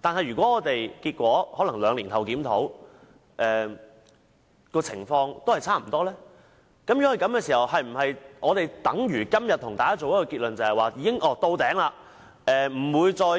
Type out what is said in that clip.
但如果我們在兩年後檢討時，情況與現在分別不大，這是否代表司法管轄權限已經到頂而無可增加？